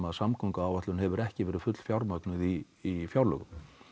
samgönguáætlun hefur ekki verið fullfjármögnuð í fjárlögum